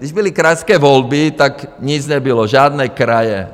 Když byly krajské volby, tak nic nebylo, žádné kraje.